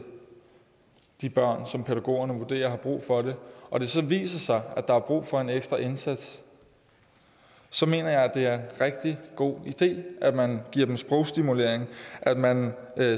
de børn som pædagogerne vurderer har brug for det og det så viser sig at der er brug for en ekstra indsats så mener jeg at det er en rigtig god idé at man giver dem sprogstimulering at man